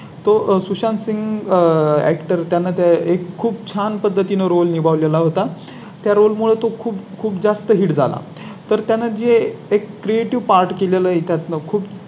तो सुशांत सिंह Actor त्यांना त्या एक खूप छान पद्धतीने Role निभाव ला होता. त्यामुळे तो खूप जास्त Hit झाला तर त्यांना जे एक Creative पाठ केलेलं आहे त्यात खूप